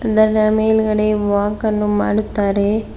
ಅದರ ಮೇಲ್ಗಡೆ ವಾಕ್ ಅನ್ನು ಮಾಡುತ್ತಾರೆ.